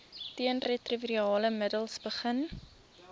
teenretrovirale middels begin